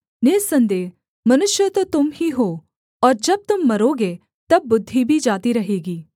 निःसन्देह मनुष्य तो तुम ही हो और जब तुम मरोगे तब बुद्धि भी जाती रहेगी